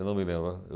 Eu não me lembro.